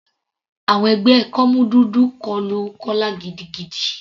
Àwọn ẹgbẹ́ kọ́mú dúdú kọlu Kọla gidigidi.